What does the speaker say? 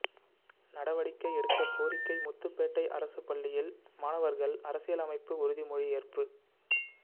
நடவடிக்கை எடுக்க கோரிக்கை முத்துப்பேட்டை அரசு பள்ளியில் மாணவர்கள் அரசியலமைப்பு உறுதிமொழி ஏற்பு